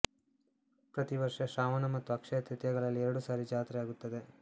ಪ್ರತಿ ವರ್ಷ ಶ್ರಾವಣ ಮತ್ತು ಅಕ್ಷಯ ತೃತೀಯಾಗಳಲ್ಲಿ ಎರಡು ಸಾರಿ ಜಾತ್ರೆ ಆಗುತ್ತದೆ